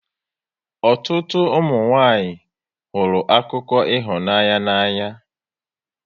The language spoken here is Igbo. Ụtụtụ ụmụnwanyị hụrụ akụkọ ịhụnanya n'anya